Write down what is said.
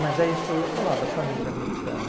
Mas é isso que eu ia falar da família americana.